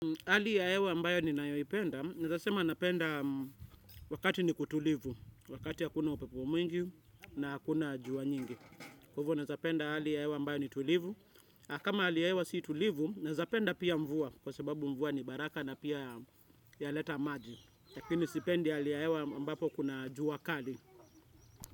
Hali ya hewa ambayo ninayoipenda, naeza sema napenda wakati ni kutulivu, wakati hakuna upepo mwingi na hakuna jua nyingi. Kwa hivo, naeza penda hali ya hewa ambayo ni tulivu. Na kama hali ya hewa si tulivu, naeza penda pia mvua, kwa sababu mvua ni baraka na pia yaleta maji. Lakini sipendi hali ya hewa ambapo kuna jua kali.